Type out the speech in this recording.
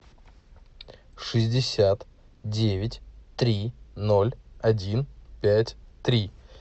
шестьдесят девять три ноль один пять три